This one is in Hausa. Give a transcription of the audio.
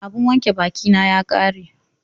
Abun wanke bakin na ya ƙare